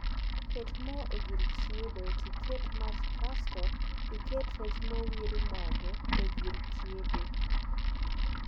Ket moo e gir chiedo tiket mach kasto iket rech mowir mogo e gir chiedo